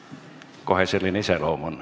On kohe selline iseloom.